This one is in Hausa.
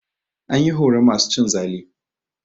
An yi horon masu cin zalu.